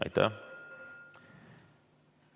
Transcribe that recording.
Aitäh!